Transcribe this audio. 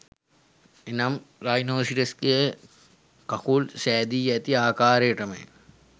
එනම් රයිනෝසිරස්ගේ කකුල් සැදී ඇති ආකාරයටමය